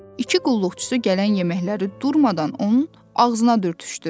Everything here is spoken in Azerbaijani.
İki qulluqçusu gələn yeməkləri durmadan onun ağzına dürtüşdürürdü.